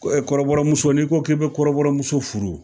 Kɔrɔbɔrɔmuso n'i ko k'i be kɔrɔbɔrɔ muso furu